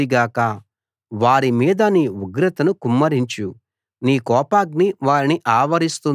వారి మీద నీ ఉగ్రతను కుమ్మరించు నీ కోపాగ్ని వారిని ఆవరిస్తుంది గాక